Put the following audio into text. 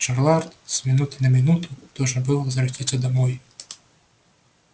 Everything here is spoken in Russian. джералд с минуты на минуту должен был возвратиться домой